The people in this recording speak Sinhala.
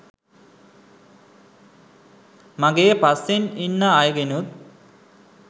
මගේ පස්සෙන් ඉන්න අයගෙනුත්